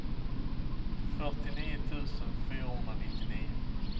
fyrtionio tusen fyrahundranittionio